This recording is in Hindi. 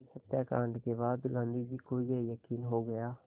इस हत्याकांड के बाद गांधी को ये यक़ीन हो गया